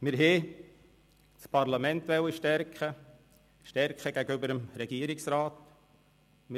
Wir wollten das Parlament stärken, es gegenüber dem Regierungsrat stärken.